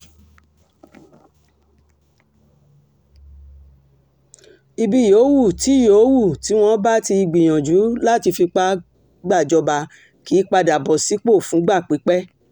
ibi yòówù tí yòówù tí wọ́n bá ti gbìyànjú láti fipá gbàjọba kì í padà bọ̀ sípò fúngbà pípẹ́